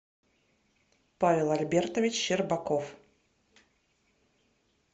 павел альбертович щербаков